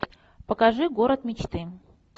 покажи город мечты